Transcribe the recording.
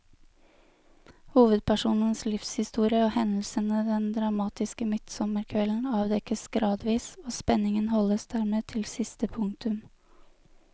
Hovedpersonens livshistorie og hendelsene den dramatiske midtsommerkvelden avdekkes gradvis, og spenningen holdes dermed til siste punktum.